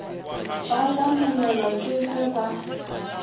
ba lamolelwa ke ge ba